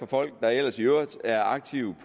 folk der ellers i øvrigt er aktive